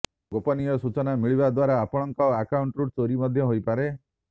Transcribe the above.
ଗୋପନୀୟ ସୂଚନା ମିଳିବା ଦ୍ବାରା ଆପଣଙ୍କ ଆକାଉଣ୍ଟରୁ ଚୋରି ମଧ୍ୟ ହୋଇପାରେ